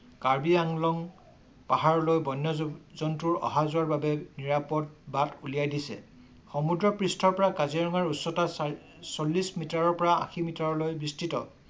কাৰ্বি আংলং পাহাৰলৈ বন্য জন্তুৰ অহা-যোৱাৰ বাবে নিৰাপদ বাট উলিয়াই দিছে। সমুদ্ৰ পৃষ্ঠৰ পৰা কাজিৰঙাৰ উচ্চতা চল্লিশ মিটাৰৰ পৰা আশী মিটাৰলৈ বিস্তৃত